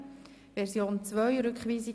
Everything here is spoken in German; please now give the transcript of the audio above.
Dies, damit wir alle vom Selben sprechen.